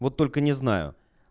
вот только не знаю